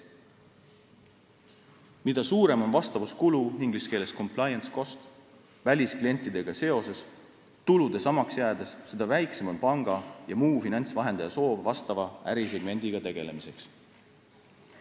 Mida suurem on vastavuskulu välisklientidega seoses, tulude samaks jäädes, seda väiksem on panga ja muu finantsvahendaja soov vastava ärisegmendiga tegelemiseks.